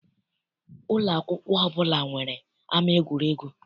Ụlọ akwụkwọ ọbụla nwere ama egwuregwu.